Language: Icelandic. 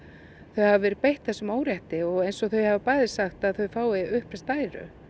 þau hafi verið beitt þessum órétti og eins og þau hafa bæði sagt að þau fái uppreist æru